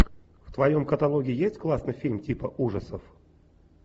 в твоем каталоге есть классный фильм типа ужасов